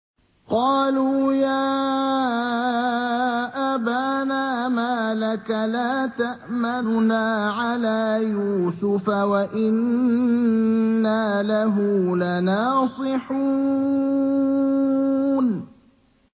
قَالُوا يَا أَبَانَا مَا لَكَ لَا تَأْمَنَّا عَلَىٰ يُوسُفَ وَإِنَّا لَهُ لَنَاصِحُونَ